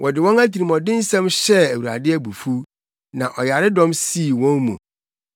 wɔde wɔn atirimɔdensɛm hyɛɛ Awurade abufuw na ɔyaredɔm sii wɔn mu.